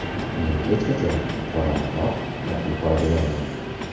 Men hech qachon qorani oq, oqni qora demayman.